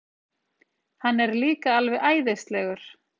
Hann er líka alveg æðislegur.